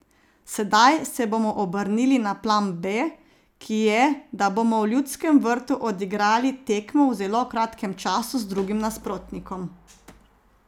Sedaj se bomo obrnili na plan B, ki je, da bomo v Ljudskem vrtu odigrali tekmo v zelo kratkem času z drugim nasprotnikom.